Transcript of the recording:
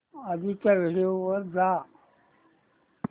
आधीच्या व्हिडिओ वर जा